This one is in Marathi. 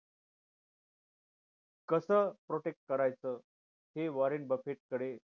कस protect करायचं हे वॉरंट बफेट कडे